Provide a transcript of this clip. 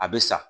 A bɛ sa